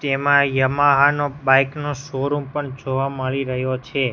તેમાં યામાહા ના બાઈક નો શૉ રૂમ પણ જોવા મળી રહ્યો છે.